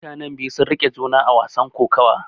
Mutanen biyu sun riƙe juna a wasan kokawa.